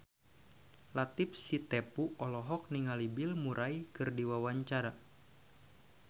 Latief Sitepu olohok ningali Bill Murray keur diwawancara